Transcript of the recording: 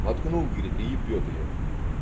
воткнул говорит и ебёт её